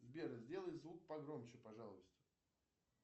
сбер сделай звук погромче пожалуйста